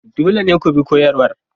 Dole ne ku bi koyarwar.